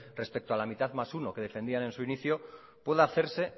respecto a la mitad más uno que defendían en su inicio pueda hacerse